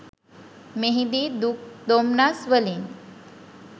මෙහිදී දුක් දොම්නස් වලින්